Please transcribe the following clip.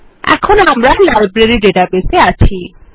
এখন আমরা library database এ আছি